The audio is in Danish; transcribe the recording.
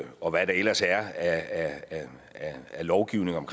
og hvad der ellers er af lovgivning om